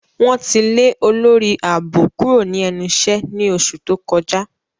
Wọn ti le olori aabo kuro ni ẹnu iṣẹ ni oṣu to kọja.